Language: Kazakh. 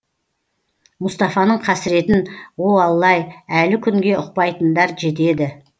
мұстафаның қасіретін о алла ай әлі күнге ұқпайтындар жетеді